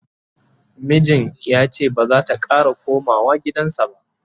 mijin yace bazata Kara komawa gidansa ba